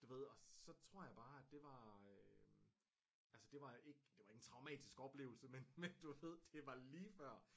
Du ved og så tror jeg bare at det var øh altså det var ikke det var ikke en traumatisk oplevelse men du ved det var lige før